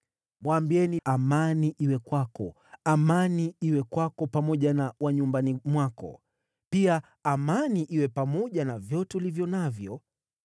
Mwambieni: ‘Amani iwe kwako! Amani iwe kwako pamoja na wa nyumbani mwako! Pia amani iwe pamoja na vyote ulivyo navyo!